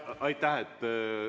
Aitäh!